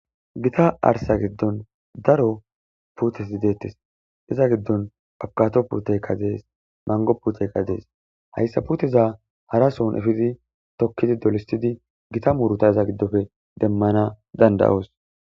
gita arsa giddon daro putes i deettes iza giddon abkato puteykkadees mango puteykadees hayssa puteza hara sohn efidi tokkidi dolistidi gita muuruta iza giddofe demmana danda7oos